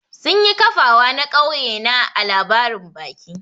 Sun yi kafawa na kauye na ã labarin baki.